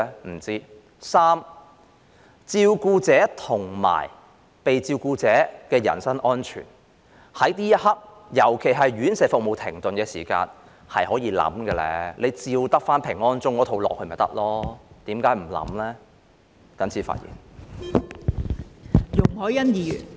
不知道；第三，照顧者和被照顧者的人身安全，在這一刻，尤其是院舍服務停頓期間，是可以考慮的，照抄平安鐘那一套便可以，為何不考慮呢？